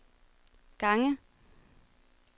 gange